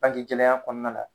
Banke gɛlɛya kɔnɔna na.